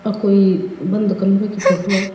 आ कोई बंद कमरे की फोटो है।